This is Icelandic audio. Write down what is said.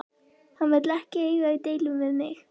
Hann vill ekki eiga í deilum við mig.